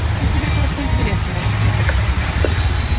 я тебе кое-что интересное расскажу